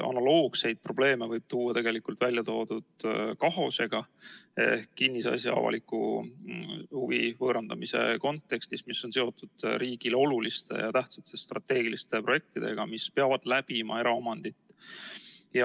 Analoogseid probleeme võib välja tuua ka KAHOS-e ehk kinnisasja avalikes huvides omandamise seaduse kontekstis, kui tegemist on riigile oluliste ja tähtsate strateegiliste projektidega, mis peavad läbima eraomandit.